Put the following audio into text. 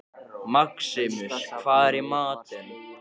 Maximus, hvað er í matinn?